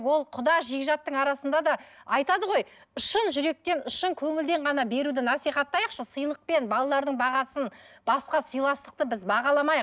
ол құда жекжаттың арасында да айтады ғой шын жүректен шын көңілден ғана беруді насихаттайықшы сыйлықпен балалардың бағасын басқа сыйластықты біз бағаламайық